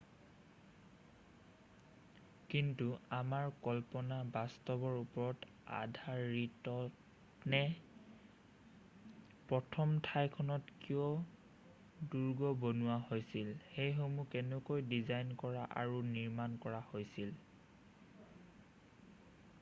কিন্তু আমাৰ কল্পনা বাস্তৱৰ ওপৰত আধাৰিতনে প্ৰথম ঠাইখনত কিয় দুৰ্গ বনোৱা হৈছিল সেইসমূহ কেনেকৈ ডিজাইন কৰা আৰু নিৰ্মাণ কৰা হৈছিল